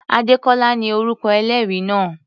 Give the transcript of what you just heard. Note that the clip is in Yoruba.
Adékọ́lá ni orúkọ ẹlẹ́rìí náà.